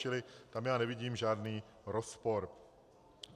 Čili tam já nevidím žádný rozpor.